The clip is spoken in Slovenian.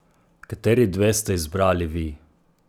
Kateri dve ste izbrali vi?